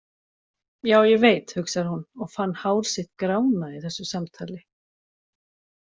Já, ég veit, hugsar hún og fann hár sitt grána í þessu samtali.